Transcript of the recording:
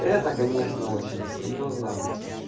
это конечно очень серьёзно